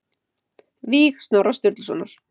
Víg Snorra Sturlusonar